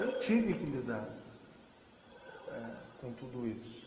Eu tive que lidar... É ... com tudo isso.